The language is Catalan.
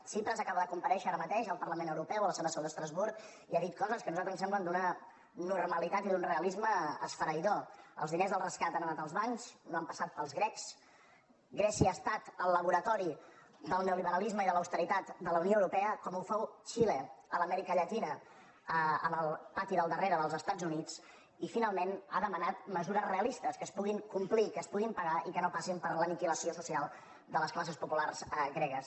tsipras acaba de comparèixer ara mateix al parlament europeu a la seva seu d’estrasburg i ha dit coses que a nosaltres ens semblen d’una normalitat i d’un realisme esfereïdor els diners del rescat han anat als bancs no han passat pels grecs grècia ha estat el laboratori del neoliberalisme i de l’austeritat de la unió europea com ho fou xile a l’amèrica llatina en el pati del darrere dels estats units i finalment ha demanat mesures realistes que es puguin complir que es puguin pagar i que no passin per l’aniquilació social de les classes populars gregues